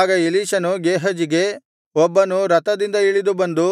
ಆಗ ಎಲೀಷನು ಗೇಹಜಿಗೆ ಒಬ್ಬನು ರಥದಿಂದ ಇಳಿದು ಬಂದು